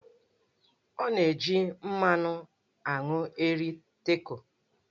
Ọ na-eji mmanụ aṅụ eri Taco.